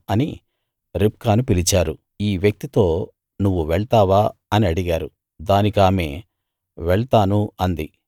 అని రిబ్కాను పిలిచారు ఈ వ్యక్తి తో నువ్వు వెళ్తావా అని అడిగారు దానికామె వెళ్తాను అంది